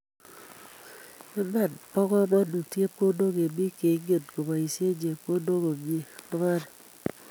Iman bo kamanut chepkondok, eng biik cheingen kobaishie chepkondok komnyei kobare